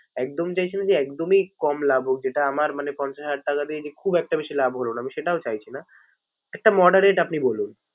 একদম চাইছি না যে একদমই কম লাভ হোক যেটা আমার মানে পঞ্চাশ হাজার টাকা দিয়ে যে খুব একটা বেশি লাভ হলো না, আমি সেটাও চাইছি না। একটা moderate আপনি বলুন।